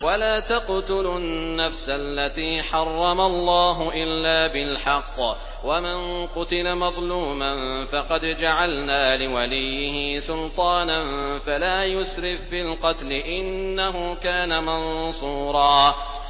وَلَا تَقْتُلُوا النَّفْسَ الَّتِي حَرَّمَ اللَّهُ إِلَّا بِالْحَقِّ ۗ وَمَن قُتِلَ مَظْلُومًا فَقَدْ جَعَلْنَا لِوَلِيِّهِ سُلْطَانًا فَلَا يُسْرِف فِّي الْقَتْلِ ۖ إِنَّهُ كَانَ مَنصُورًا